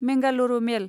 Mangalore मेल